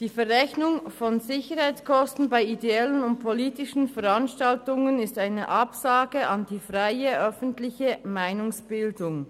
Die Verrechnung von Sicherheitskosten bei ideellen und politischen Veranstaltungen ist eine Absage an die freie, öffentliche Meinungsbildung.